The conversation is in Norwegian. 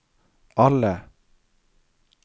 alle